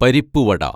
പരിപ്പുവട